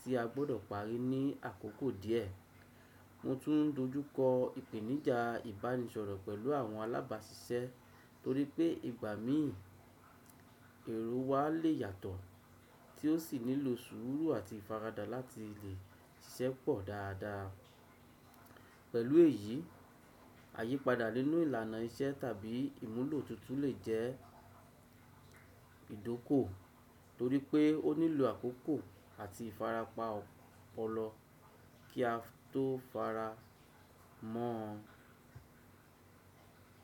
tí a gbọ́dọ̀ parí ní àkókò díẹ̀. Mo tún dojúkọ ìpèníjà ìbánisọ̀rọ̀ pẹ̀lú àwọn alábáṣiṣẹ́ torí pé ìgbà míì èrò wa le yàtọ̀, tí ó sì nílò sùúrù àti ìfaradà láti lè ṣẹ́pọ̀ dáadáa. Pẹ̀lú èyí, àyípadà nínú ìlànà iṣẹ́ tàbí ìmúlò tuntun lè jẹ́ ìdókò torí pé ó nílò àkókò àti ìfarapa ọ̀pọ̀lọ kí a tó fara mọ́.